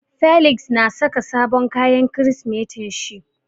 Felix na saka sabon kayan Kirsimetin shi.